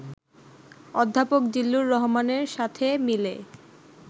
অধ্যাপক জিল্লুর রহমানের সাথে মিলে